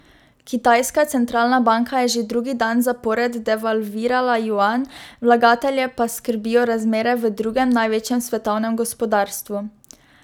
Kitajska centralna banka je že drugi dan zapored devalvirala juan, vlagatelje pa skrbijo razmere v drugem največjem svetovnem gospodarstvu.